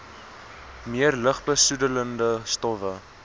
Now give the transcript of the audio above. meer lugbesoedelende stowwe